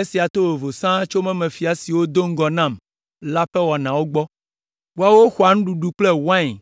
Esia to vovo sãa tso mɔmefia siwo do ŋgɔ nam la ƒe wɔnawo gbɔ. Woawo xɔa nuɖuɖu kple wain